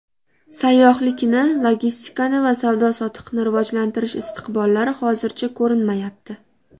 Sayyohlikni, logistikani va savdo-sotiqni rivojlantirish istiqbollari hozircha ko‘rinmayapti.